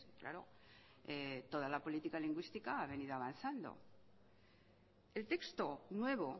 claro toda la política lingüística ha venido avanzando el texto nuevo